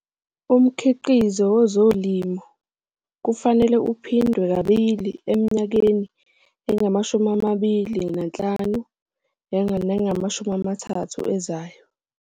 Umkhiqizo wezolimo kufanele iphindwe kabili eminyakeni engama25 30 ezayo.